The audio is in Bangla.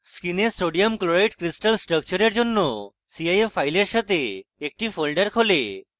screen sodium chloride crystal স্ট্রাকচারের জন্য cif files সাথে একটি folder খোলে